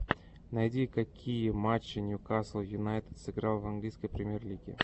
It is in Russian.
найди какие матча ньюкасл юнайтед сыграл в английской премьер лиги